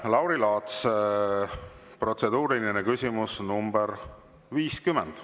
Lauri Laats, protseduuriline küsimus nr 50.